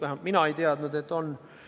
Vähemalt mina ei teadnud, et on.